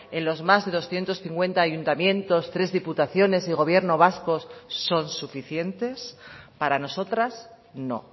en los más de doscientos cincuenta ayuntamientos tres diputaciones y gobierno vasco son suficientes para nosotras no